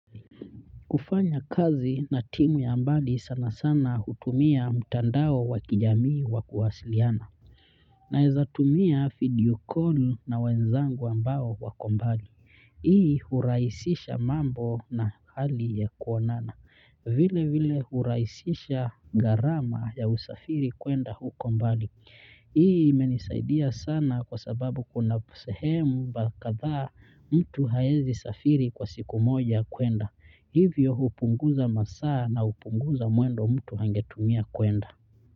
Kufanya kazi na timu ya mbali sana sana hutumia mtandao wa kijamii wa kuwasiliana. Naweza tumia video call na wenzangu ambao wako mbali. Hii hurahisisha mambo na hali ya kuonana. Vile vile hurahisisha gharama ya usafiri kwenda huko mbali. Hii imenisaidia sana kwa sababu kuna sehemu kadha mtu hawezi safiri kwa siku moja kwenda. Hivyo hupunguza masaa na hupunguza mwendo mtu angetumia kwenda.